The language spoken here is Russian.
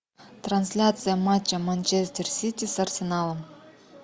трансляция матча манчестер сити с арсеналом